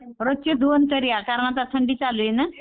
रोजचे दोन तरी आता थंडी चालू आहे ना.